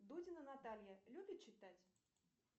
дудина наталья любит читать